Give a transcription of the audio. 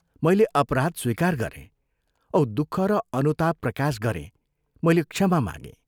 मैले अपराध स्वीकार गरें औ दुःख र अनुताप प्रकाश गरें मैले क्षमा मागें।